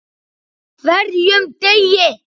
HVERJUM DEGI!